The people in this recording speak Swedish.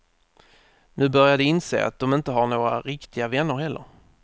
Nu börjar de inse att de inte har några riktiga vänner heller.